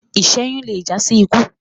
iṣẹyun lẹ já sí ikú